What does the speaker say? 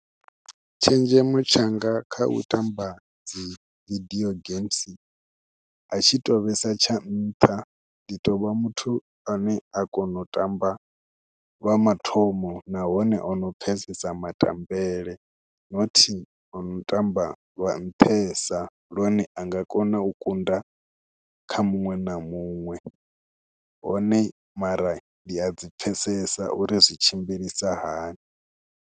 Tshenzhemo tshanga kha u tamba dz video games a tshi tou vhesa tsha nṱha, ndi tou vha muthu ane a kona u tamba lwaa mathomo nahone ono pfhesesa matamele not ono tamba lwa nṱhesa lune a nga kona u kunda kha muṅwe na muṅwe hone mara ndi a dzi pfhesesa uri zwi tshimbilisa hani.